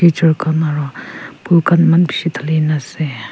aro phule khan eman bishi dalhin kena ase.